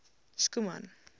schoeman